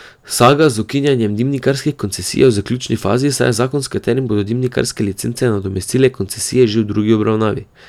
Saga z ukinjanjem dimnikarskih koncesij je v zaključni fazi, saj je zakon s katerim bodo dimnikarske licence nadomestile koncesije že v drugi obravnavi.